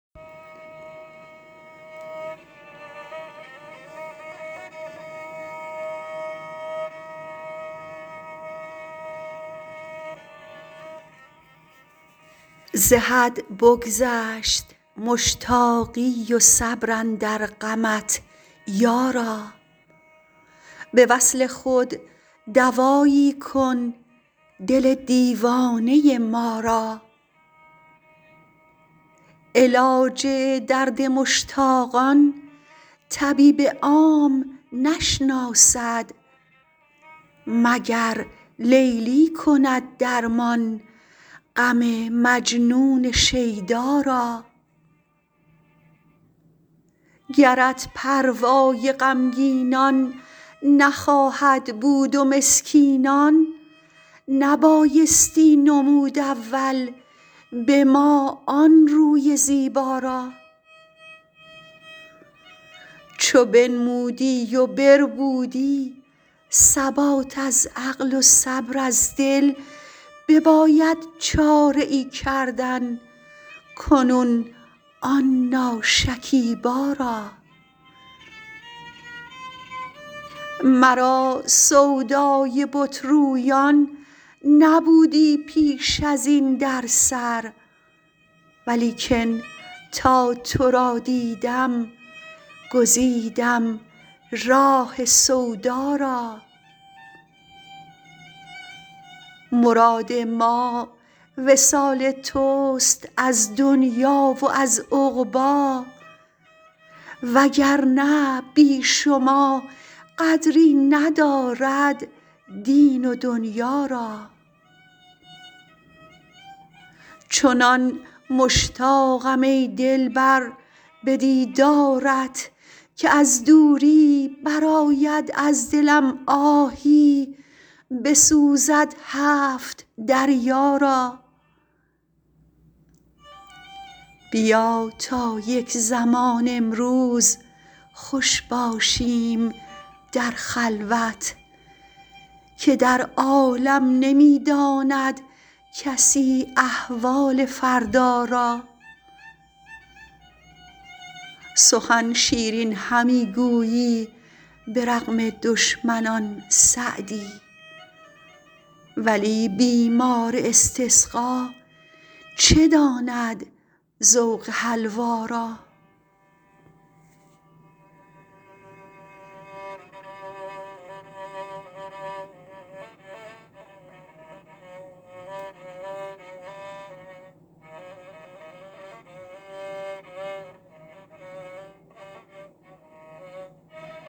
ز حد بگذشت مشتاقی و صبر اندر غمت یارا به وصل خود دوایی کن دل دیوانه ما را علاج درد مشتاقان طبیب عام نشناسد مگر لیلی کند درمان غم مجنون شیدا را گرت پروای غمگینان نخواهد بود و مسکینان نبایستی نمود اول به ما آن روی زیبا را چو بنمودی و بربودی ثبات از عقل و صبر از دل بباید چاره ای کردن کنون آن ناشکیبا را مرا سودای بت رویان نبودی پیش ازین در سر ولیکن تا تو را دیدم گزیدم راه سودا را مراد ما وصال تست از دنیا و از عقبی وگرنه بی شما قدری ندارد دین و دنیا را چنان مشتاقم ای دلبر به دیدارت که از دوری برآید از دلم آهی بسوزد هفت دریا را بیا تا یک زمان امروز خوش باشیم در خلوت که در عالم نمی داند کسی احوال فردا را سخن شیرین همی گویی به رغم دشمنان سعدی ولی بیمار استسقا چه داند ذوق حلوا را